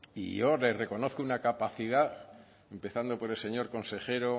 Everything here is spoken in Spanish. y yo le reconozco una capacidad empezando por el señor consejero